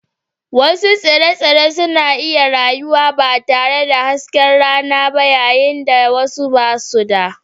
Wasu tsire-tsire suna iya rayuwa ba tare da hasken rana ba yayin da wasu ba su da